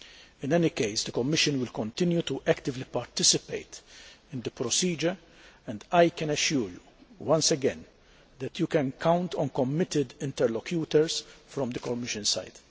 In any case the Commission will continue to actively participate in the procedure, and I can assure you once again that you can count on committed interlocutors on the Commission side.